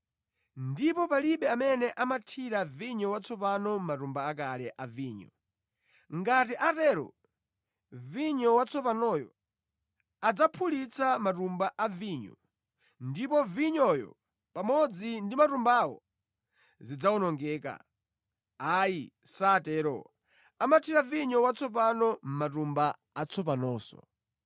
Ndipo palibe amene amathira vinyo watsopano mʼmatumba akale a vinyo. Ngati atatero, vinyo watsopanoyo adzaphulitsa matumba a vinyo ndipo vinyoyo pamodzi ndi matumbawo zidzawonongeka. Ayi, satero, amathira vinyo watsopano mʼmatumba atsopanonso.”